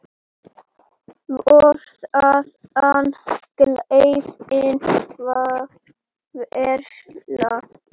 Fór þaðan glerfín að versla.